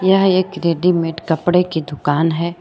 यह एक रेडीमेड कपड़े की दुकान है।